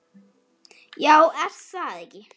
Já er það ekki?